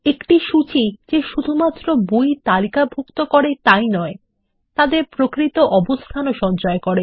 একটি সূচী যে শুধুমাত্র বই তালিকাভুক্ত করে তাই নয় তাদের প্রকৃত অবস্থানও সঞ্চয় করে